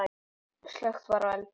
Slökkt var í eldinum.